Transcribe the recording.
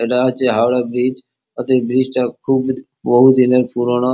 ইটা হচ্ছে হাওড়া ব্রিজ ওদের ব্রিজ -টা খুব বহু দিনের পুরোনো।